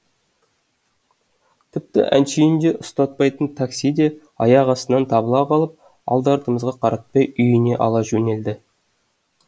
тіпті әншейінде ұстатпайтын такси де аяқ астынан табыла қалып алды артымызға қаратпай үйіне ала жөнелді